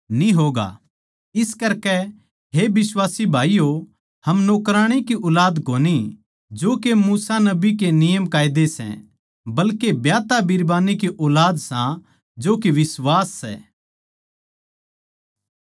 इस करकै हे बिश्वासी भाईयो हम नौकराणी की ऊलाद कोनी जो के मूसा नबी के नियमकायदे सै बल्के ब्याहता बिरबान्नी की ऊलाद सां जो के बिश्वास सै